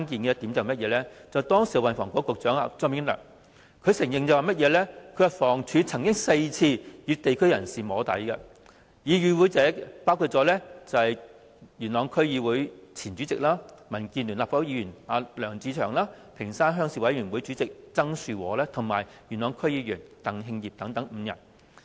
時任運輸及房屋局局長張炳良承認，房屋署曾4次與地區人士進行"摸底"會議，與會者包括：元朗區議會前主席、民建聯立法會議員梁志祥、屏山鄉鄉事委員會主席曾樹和及元朗區議員鄧慶業等5人。